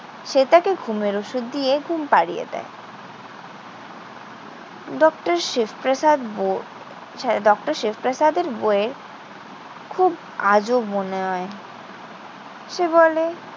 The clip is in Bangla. সে তাকে ঘুমের ওষুধ দিয়ে ঘুম পাড়িয়ে দেয়। ডক্টর শিব প্রসাদ ব~ হ্যাঁ ডক্টর শিব প্রসাদের বউয়ের খুব আজব মনে হয়। সে বলে,